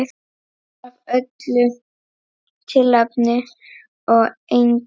Af öllu tilefni og engu.